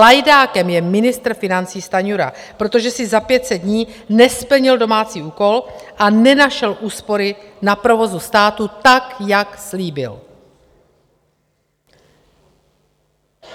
Lajdákem je ministr financí Stanjura, protože si za 500 dní nesplnil domácí úkol a nenašel úspory na provozu státu tak, jak slíbil.